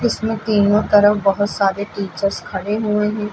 इसमें तीनों तरफ बहोत सारे टीचर्स खड़े हुए हैं।